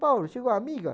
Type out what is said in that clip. Paulo, chegou a amiga?